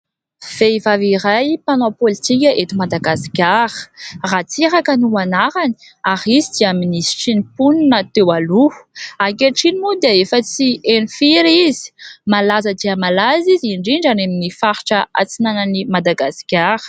Vehivavy iray mpanao politika eto Madagasikara, Ratsiraka no anarany, ay izy dia minisitry ny mponina teo aloha. Ankehitriny moa dia efa tsy heno firy izy ; malaza dia malaza izy, indrindra any amin'ny faritra antsinanan'i Madagasikara.